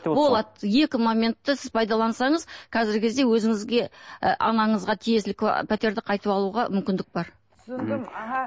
болады екі моментті сіз пайдалансаңыз қазіргі кезде өзіңізге ы анаңызға тиесілі пәтерді қайтып алуға мүмкіндік бар түсіндім аха